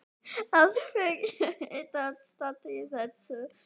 Af hverju ertu að standa í þessu?